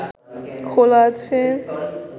খোলা আছে